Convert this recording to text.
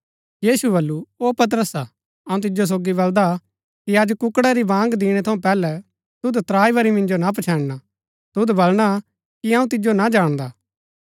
यीशुऐ बल्लू ओ पतरसा अऊँ तिजो सोगी बल्‍दा कि अज कुक्कड़ा री बाँग दिणै थऊँ पैहलै तुद त्राई बरी मिन्जो ना पछैन्णा तुद बलणा कि अऊँ तिजो ना जाणदा